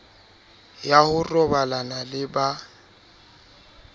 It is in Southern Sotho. ya ho robalana le ba